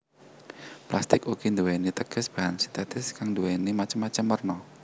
Plastik uga nduwéni teges bahan sintetis kang nduwéni macem macem werna